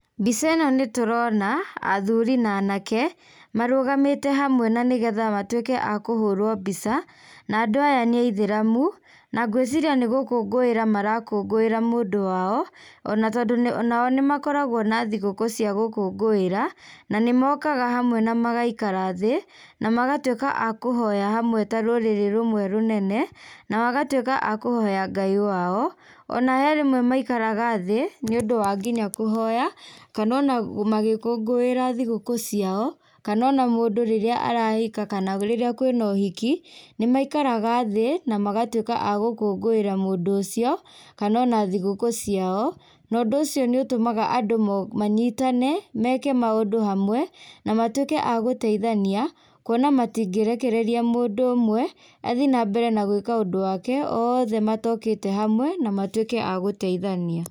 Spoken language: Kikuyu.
Mbica ĩno nĩ tũrona athuri na anake, marũgamĩte hamwe na nĩgetha matuĩke a kũhũũrũo mbica na nandũ aya nĩ aithĩramu, na ngwĩciria nĩ gũkũngũĩra marakũngũĩra mũndũ wao, ona tondũ nao nĩ makoraguo na thigũkũ cia gũkũngũĩra, na nĩ mokaga hamwe na magaikara thĩ, na magatuĩka a kũhoya hamwe ta rũrĩrĩ rũmwe rũnene, na magatuĩka a kũhoya Ngai wao, ona he rĩmwe maikaraga thĩ, nĩ ũndũ wa nginya kũhoya kana ona magĩkũngũĩra thigũkũ ciao, kana ona mũndũ rĩrĩa arahika kana rĩrĩa kwĩna ũhiki, nĩ maikaraga thĩ na magatuĩka agũkũngũĩra mũndũ ũcio, kana ona thigũkũ ciao, na ũndũ ũcio nĩ ũtũmaga andũ mo manyitane, meke maũndũ hamwe, na matuĩke a gũteithania, kuona matingĩrekereria mũndũ ũmwe, athiĩ na mbere gwĩka ũndũ wake, othe matokĩte hamwe na matuĩke a gũteithania.